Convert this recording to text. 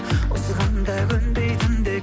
осыған да көнбейтіндей